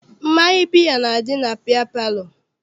Mmanya biya na-adị na biya palọ.